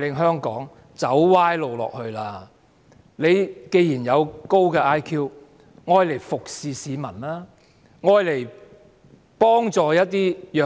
請局長利用他的高 IQ 服務市民，幫助弱